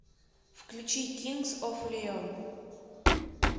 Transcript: включи кингз оф леон